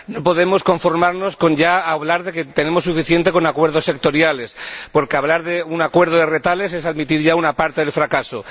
No podemos conformarnos con hablar de que tenemos suficiente con acuerdos sectoriales, porque hablar de un acuerdo de retales es admitir ya una parte del fracaso.